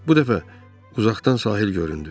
Bu dəfə uzaqdan sahil göründü.